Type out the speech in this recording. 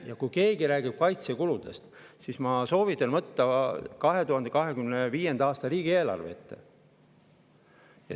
Ja kui keegi räägib kaitsekuludest, siis ma soovitan võtta 2025. aasta riigieelarve ette.